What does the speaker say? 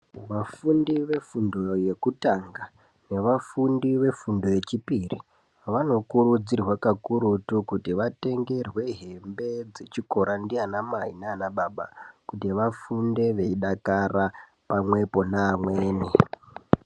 Vafundi vefundo yekutanga, nevafundi vefundo yechipiri vanokurudzirwa kakurutu, kuti vatengerwe hembe dzechikora ndiana mai nana baba, kuti vafunde veidakara pamwepo neamweni.